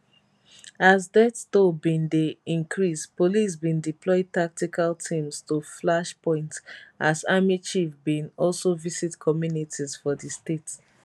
as death toll bin dey increasepolice bin deploy tactical teams to flash points asarmychief bin also visit communities for di state